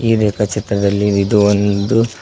ಈ ರೇಖಾ ಚಿತ್ರದಲ್ಲಿ ಇದು ಒಂದು--